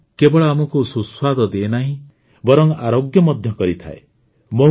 ମହୁ କେବଳ ଆମକୁ ସୁସ୍ୱାଦ ଦିଏ ନାହିଁ ବରଂ ଆରୋଗ୍ୟ ମଧ୍ୟ କରିଥାଏ